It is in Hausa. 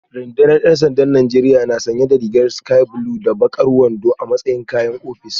Rundunar ‘yan sandan Najeriya na sanye da rigar sky blue da bakar wando a matsayin kayan ofis